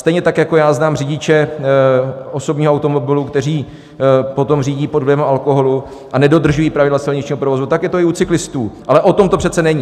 Stejně tak jako já znám řidiče osobního automobilu, kteří potom řídí pod vlivem alkoholu a nedodržují pravidla silničního provozu, tak je to i u cyklistů, ale o tom to přece není.